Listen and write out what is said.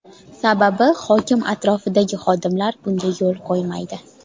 Sababi hokim atrofidagi xodimlar bunga yo‘l qo‘ymaydi.